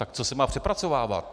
Tak co se má přepracovávat?